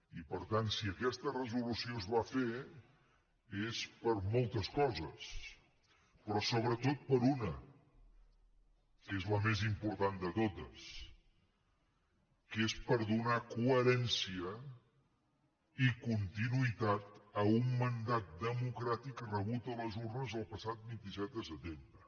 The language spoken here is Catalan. i per tant si aquesta resolució es va fer és per moltes coses però sobretot per una que és la més important de totes que és per donar coherència i continuïtat a un mandat democràtic rebut a les urnes el passat vint set de setembre